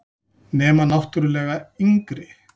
Nema náttúrlega yngri.